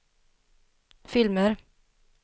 filmer